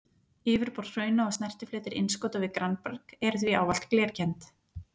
Yfirborð hrauna og snertifletir innskota við grannberg eru því ávallt glerkennd.